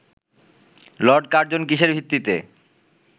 Lord Curzon কিসের ভিত্তিতে